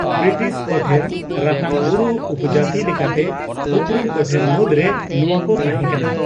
British ᱠᱚᱴᱷᱮᱱ ᱨᱟᱛᱟᱝ ᱵᱩᱨᱩ ᱩᱯᱚᱡᱟᱹᱛᱤ ᱞᱮᱠᱟᱛᱮ ᱩᱯᱨᱩᱢ ᱠᱚᱴᱷᱮᱱ ᱢᱩᱫᱽᱨᱮ ᱱᱚᱣᱟᱠᱚ ᱛᱟᱦᱮᱸ ᱠᱟᱱᱟ ᱾